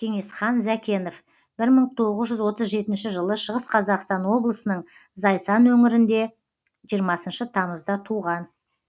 кеңесхан зәкенов бір мың тоғыз жүз отыз жетінші жылы шығыс қазақстан облысының зайсан өңірінде жиырмасыншы тамызда туған